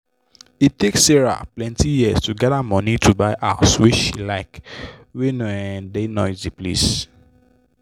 e take sarah plenty years to gather money to buy house wey she like wey no um da noisy place